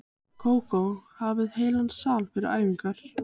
Kókó hafði heilan sal fyrir æfingar.